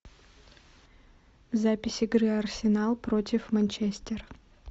запись игры арсенал против манчестер